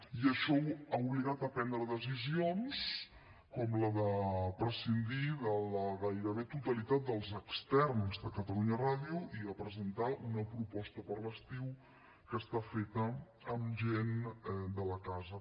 i això ha obligat a prendre decisions com la de prescindir de la gairebé totalitat dels externs de catalunya ràdio i de presentar una proposta per a l’estiu que està feta amb gent de la casa